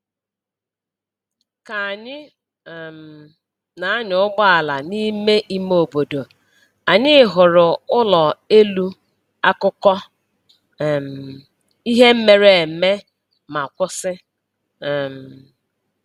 Ka anyị um na-anya ụgbọala n’ime ime obodo, anyị hụrụ ụlọ elu akụkọ um ihe mere eme ma kwụsị. um